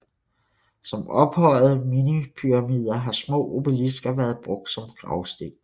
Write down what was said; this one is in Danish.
Som ophøjede minipyramider har små obelisker været brugt som gravsten